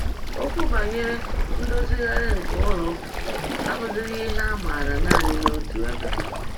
Okwu banyere ndozigharị nke ụlọụka abụzighị ihe a maara nanị n’otu ebe.